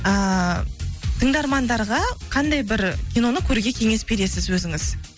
ііі тыңдармандарға қандай бір киноны көруге кеңес бересіз өзіңіз